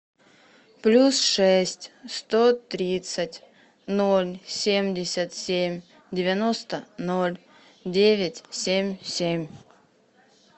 плюс шесть сто тридцать ноль семьдесят семь девяносто ноль девять семь семь